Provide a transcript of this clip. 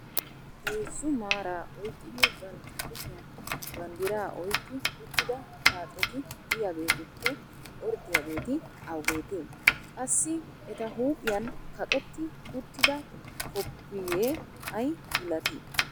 heezzu maaraa oyqqidi bantta kushiyan bandiraa oyqqi uttida xaacetti diyaageetuppe orddiyaageeti awugeetee? qassi eta huuphiyan kaqetti uttida koppoyee ay malatii?